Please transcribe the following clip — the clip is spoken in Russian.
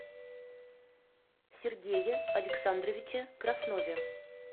сергее александровиче краснове